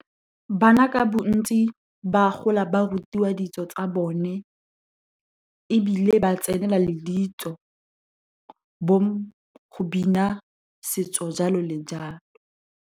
Bana ka bontsi, ba gola ba rutiwa ditso tsa bone, ebile ba tsenela le ditso, bo go bina setso, jalo le jalo.